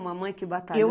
Uma mãe que batalhou, né?